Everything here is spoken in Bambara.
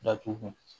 Datugu